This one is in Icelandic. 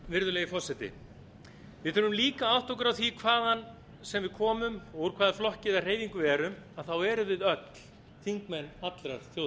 virðulegi forseti við þurfum líka að átta okkur á því að hvaðan sem við komum og úr hvaða flokki eða hreyfingu við erum að við erum öll þingmenn allrar